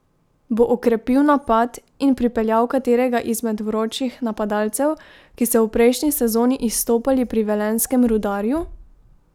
Bo okrepil napad in pripeljal katerega izmed vročih napadalcev, ki so v prejšnji sezoni izstopali pri velenjskemu Rudarju?